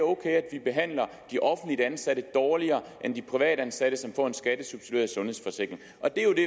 vi behandler de offentligt ansatte dårligere end de privatansatte som får en skattesubsidieret sundhedsforsikring